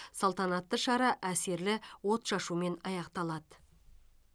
салтанатты шара әсерлі отшашумен аяқталады